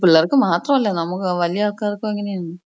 പിള്ളേർക്ക് മാത്രമല്ല നമ്മക്ക് വല്യ ആള്‍ക്കാര്‍ക്കും അങ്ങനെയാണ്.